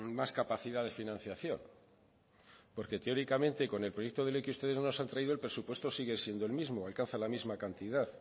más capacidad de financiación porque teóricamente con el proyecto de ley que ustedes nos han traído el presupuesto sigue siendo el mismo alcanza la misma cantidad